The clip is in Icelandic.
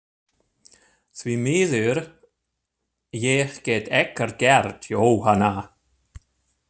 Því miður, ég get ekkert gert, Jóhanna.